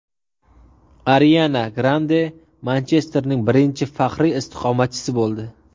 Ariana Grande Manchesterning birinchi faxriy istiqomatchisi bo‘ldi.